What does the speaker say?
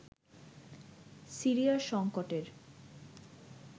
সিরিয়ার সংকটের